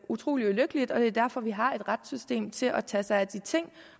utrolig ulykkeligt og det er derfor vi har et retssystem til at tage sig af de ting